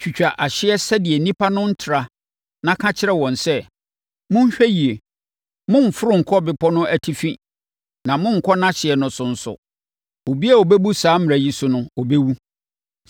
Twitwa ahyeɛ sɛdeɛ nnipa no rentra na ka kyerɛ wɔn sɛ, ‘Monhwɛ yie. Mommforo nkɔ bepɔ no atifi na monnkɔ nʼahyeɛ no nso so; obiara a ɔbɛbu saa mmara yi so no, ɔbɛwu.